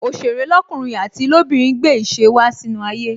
Òsèré lọkunrin àti lobinrin gbé ìṣe wá sínú ayé